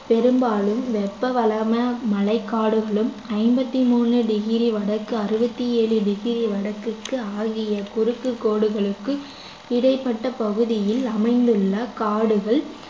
பெரும்பாலும் வெப்ப வளமான மழைக்காடுகளும் ஐம்பத்தி மூணு டிகிரி வடக்கு அறுபத்தி ஏழு டிகிரி வடக்குக்கு ஆகிய குறுக்கு கோடுகளுக்கும் இடைப்பட்ட பகுதியில் அமைந்துள்ள காடுகள்